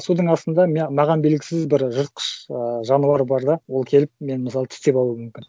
судын астында маған белгісіз бір жыртқыш ыыы жануар бар да ол келіп мені мысалы тістеп алуы мүмкін